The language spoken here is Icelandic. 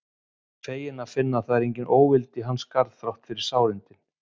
Feginn að finna að það er engin óvild í hans garð þrátt fyrir sárindin.